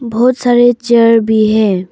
बहोत सारे चेयर भी हैं।